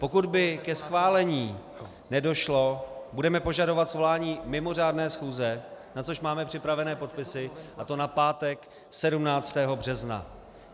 Pokud by ke schválení nedošlo, budeme požadovat svolání mimořádné schůze, na což máme připravené podpisy, a to na pátek 17. března.